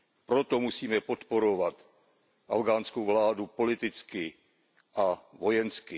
Proto musíme podporovat afghánskou vládu politicky a vojensky.